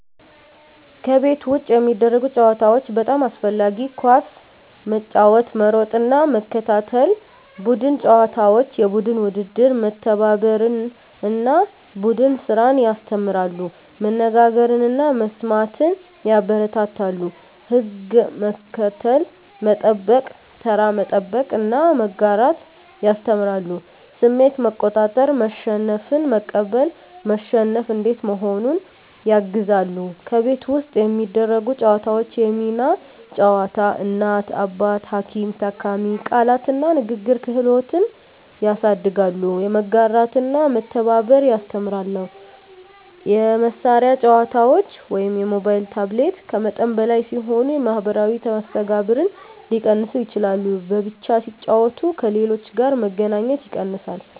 ከቤት ውጭ የሚደረጉ ጨዋታዎች (በጣም አስፈላጊ) ኳስ መጫወት መሮጥና መከታተል ቡድን ጨዋታዎች (የቡድን ውድድር) መተባበርን እና ቡድን ስራን ያስተምራሉ መነጋገርን እና መስማትን ያበረታታሉ ሕግ መከተል፣ መጠበቅ (ተራ መጠበቅ) እና መጋራት ያስተምራሉ ስሜት መቆጣጠር (መሸነፍን መቀበል፣ መሸነፍ እንዴት መሆኑን) ያግዛሉ ከቤት ውስጥ የሚደረጉ ጨዋታዎች የሚና ጨዋታ (እናት–አባት፣ ሐኪም–ታካሚ) ቃላት እና ንግግር ክህሎት ያሳድጋሉ መጋራትና መተባበር ያስተምራሉ የመሳሪያ ጨዋታዎች (ሞባይል/ታብሌት) ከመጠን በላይ ሲሆኑ የማኅበራዊ መስተጋብርን ሊቀንሱ ይችላሉ በብቻ ሲጫወቱ ከሌሎች ጋር መገናኘት ይቀንሳል